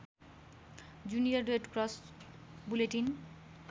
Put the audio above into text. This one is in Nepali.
junior Red Cross bulletin